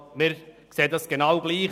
Das sehen wir genau gleich.